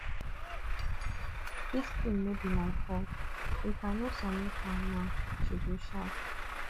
dis thing no be my fault if i no submit am now she go shout